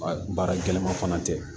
Baara gɛlɛman fana tɛ